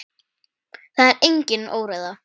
Það er engin óreiða.